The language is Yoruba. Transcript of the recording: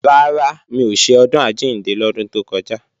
Rárá, mi ò ṣe Ọdún Àjíǹde lọ́dún tó kọjá